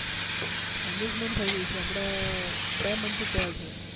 engagement થઇ ગઈ છે અમને બે month જ થયા છે